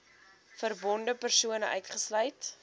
verbonde persone uitgesluit